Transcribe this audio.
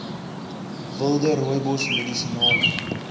wilde rooibos medisinale